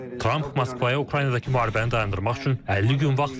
Tramp Moskvaya Ukraynadakı müharibəni dayandırmaq üçün 50 gün vaxt verib.